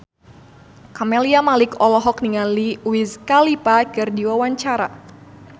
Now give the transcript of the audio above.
Camelia Malik olohok ningali Wiz Khalifa keur diwawancara